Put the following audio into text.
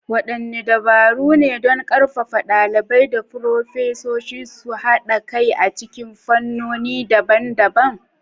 Waɗanne dabaru ne don ƙarfafa ɗalibai da furofesoshi su haɗa kai a cikin fannoni daban-daban?